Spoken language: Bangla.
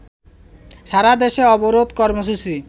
সারাদেশে অবরোধ কর্মসূচি